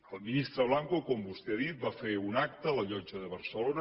el ministre blanco com vostè ha dit va fer un acte a la llotja de barcelona